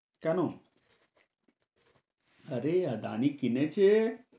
কেন? আরে আদানি কিনেছে